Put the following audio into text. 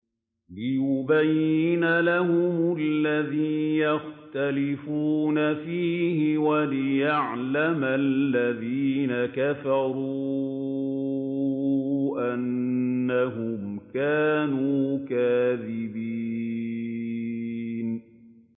لِيُبَيِّنَ لَهُمُ الَّذِي يَخْتَلِفُونَ فِيهِ وَلِيَعْلَمَ الَّذِينَ كَفَرُوا أَنَّهُمْ كَانُوا كَاذِبِينَ